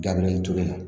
Dabilalen tora